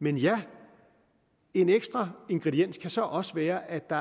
men en ekstra ingrediens kan så også være at der